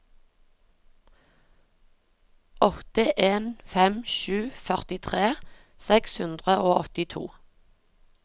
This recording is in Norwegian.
åtte en fem sju førtitre seks hundre og åttito